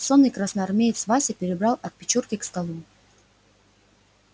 сонный красноармеец вася перебрал от печурки к столу